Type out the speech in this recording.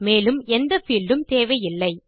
மேலும் எந்த பீல்ட் உம் தேவையில்லை